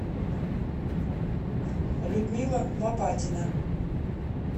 людмила лопатина